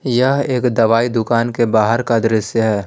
यह एक दवाई दुकान के बाहर का दृश्य है।